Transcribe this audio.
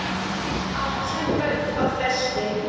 Allt sem hönd á festi.